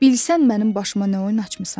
Bilsən mənim başıma nə oyun açmısan!